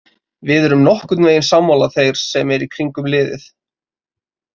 Við erum nokkurnveginn sammála þeir sem eru í kringum liðið.